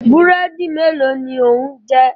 Búrẹ́dì mélòó ni ò ń jẹ?